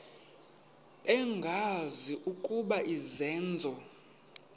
bengazi ukuba izenzo